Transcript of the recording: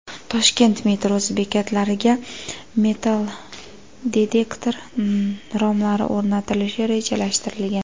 Toshkent metrosi bekatlariga metallodetektor romlari o‘rnatilishi rejalashtirilgan.